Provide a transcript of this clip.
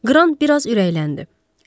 Qran bir az ürəkləndi.